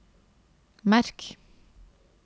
merk